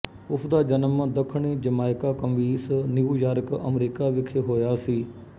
ਉਸਦਾ ਜਨਮ ਦੱਖਣੀ Jamaica Queens New York America ਵਿਖੇ ਹੋਇਆ ਸੀ